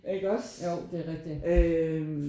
Iggås øh